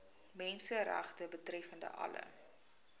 menseregte betreffende alle